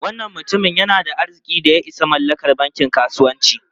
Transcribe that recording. Wannan mutumin yana da arzikin da ya isa mallakar bankin kasuwanci.